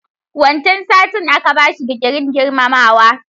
Wancan satin aka bashi digirin girmamawa.